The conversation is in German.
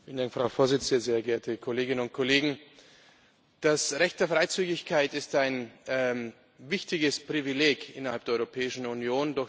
Frau Präsidentin, sehr geehrte Kolleginnen und Kollegen! Das Recht der Freizügigkeit ist ein wichtiges Privileg innerhalb der Europäischen Union.